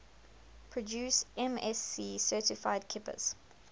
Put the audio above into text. produce msc certified kippers